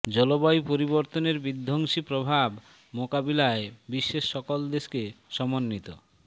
জলবায়ু পরিবর্তনের বিধ্বংসী প্রভাব মোকাবিলায় বিশ্বের সকল দেশকে সমন্বিত